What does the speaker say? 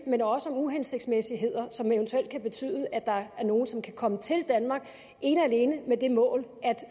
men også om uhensigtsmæssigheder som eventuelt kan betyde at der er nogle som kan komme til danmark ene og alene med det mål at